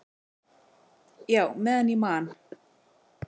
"""Já, meðan ég man."""